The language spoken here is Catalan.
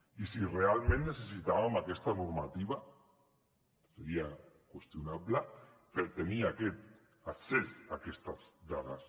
i si realment necessitàvem aquesta normativa seria qüestionable per tenir aquest accés a aquestes dades